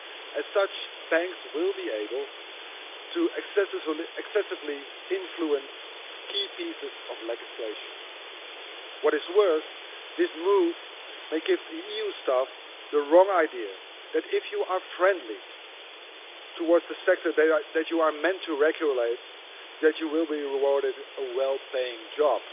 As such, banks will be able to excessively influence key pieces of legislation. What is worse, this move may give EU staff the wrong idea that if you are friendly towards the sector that you are meant to regulate then you will be awarded a well-paying job.